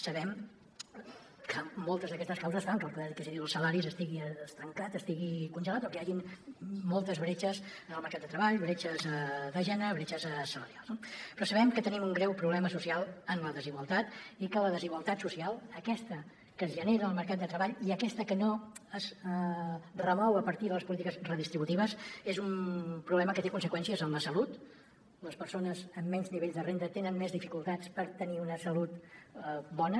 sabem que moltes d’aquestes causes fan que el poder adquisitiu dels salaris estigui estancat estigui congelat o que hi hagin moltes bretxes en el mercat de treball bretxes de gènere bretxes salarials no però sabem que tenim un greu problema social en la desigualtat i que la desigualtat social aquesta que es genera en el mercat de treball i aquesta que no es remou a partir de les polítiques redistributives és un problema que té conseqüències en la salut les persones amb menys nivells de renda tenen més dificultats per tenir una salut bona